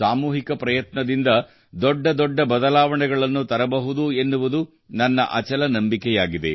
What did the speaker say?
ಸಾಮೂಹಿಕ ಪ್ರಯತ್ನದಿಂದ ದೊಡ್ಡ ದೊಡ್ಡ ಬದಲಾವಣೆಗಳನ್ನು ತರಬಹುದು ಎನ್ನುವುದು ನನ್ನ ಅಚಲ ನಂಬಿಕೆಯಾಗಿದೆ